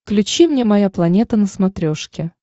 включи мне моя планета на смотрешке